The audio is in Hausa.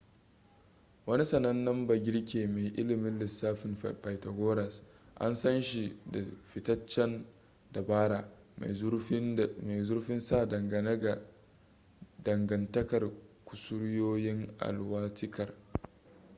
wani sanannen bagirke mai ilimin lissafin pythagoras an san shi da fitacen dabara mai zurfin sa dangane ga dangantakar kusuryoyin alwatikar